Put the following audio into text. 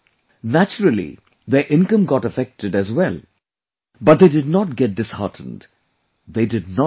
Naturally, their income got affected as well but they did not get disheartened; they did not give up